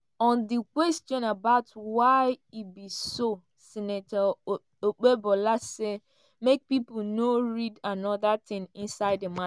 on di question about why e be so senator okpebola say make pipo no read anoda tin inside di ma.